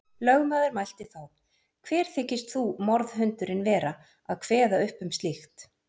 Lögmaður mælti þá: Hver þykist þú, morðhundurinn, vera að kveða upp um slíkt.